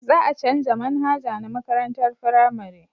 Za a canja manhaja na makarantar firamare